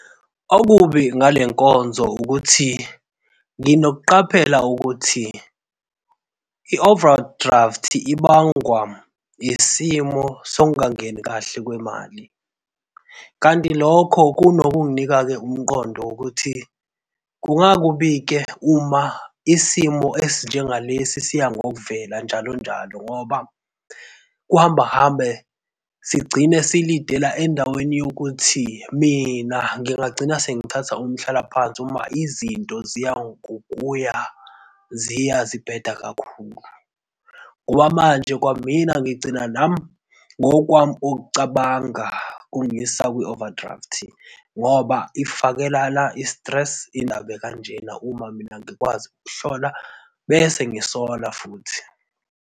Okubi ngale nkonzo ukuthi nginokuqaphela ukuthi i-overdraft ibangwa isimo sokungangeni kahle kwemali. Kanti lokho kunokunginika-ke umqondo wokuthi kungaba kubi-ke uma isimo esinjenga lesi siyangokuvela njalonjalo ngoba kuhamba hambe sigcine si-lead-ela endaweni yokuthi mina ngingagcina sengithatha umhlalaphansi uma izinto ziya ngokuya ziya zibheda kakhulu ngoba manje kwamina ngigcina nami, ngokwami ukucabanga kungiyisa kwi-overdraft ngoba ifakelana i-stress indaba ekanjena uma mina ngikwazi bese ngisolwa futhi.